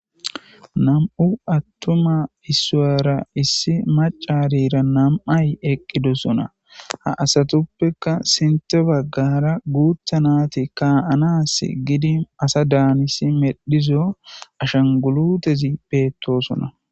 nam'u attuma isuwera issi macarira nam'ay eqqidosona ha asatuppekka sinte baggara guutha nati kaanas gidi asa daanisi medhizo ashangulutezi beettosona